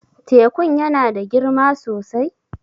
Tekun ya na da girma sosai?